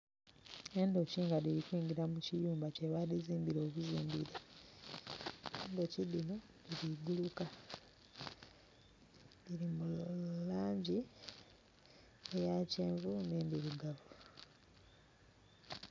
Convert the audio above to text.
Endhoki nga dhiri kwingila mu kiyumba kye ba dhizimbira obuzimbire, endhoki dhino dhiri guluka dhiri mu langi eya kyenvu ne ndhirugavu.